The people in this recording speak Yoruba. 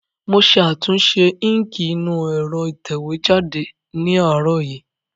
Mo ṣe àtúnṣe íǹkì inú ẹ̀rọ ìtẹ̀wé jáde ní àárọ̀ yìí